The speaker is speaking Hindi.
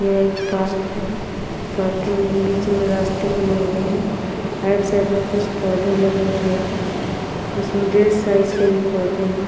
यह एक पार्क है। पार्क के बीच में कुछ रास्ते बने हुए है। राइट साइड में कुछ पौधे लगे हुए है। कुछ मिडिल साइज के पौधे है कुछ --